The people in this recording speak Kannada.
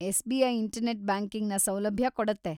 ಎಸ್‌.ಬಿ.ಐ. ಇಂಟರ್‌ನೆಟ್‌ ಬ್ಯಾಂಕಿಂಗ್‌ನ ಸೌಲಭ್ಯ ಕೊಡುತ್ತೆ.